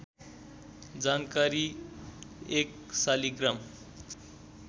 जानकारी १ शालिग्राम